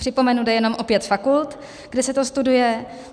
Připomenu, jde jenom o pět fakult, kde se to studuje.